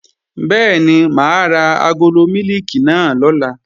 Bẹ́ẹ̀ni, mà á ra agolo mílìkì náà lọ̀la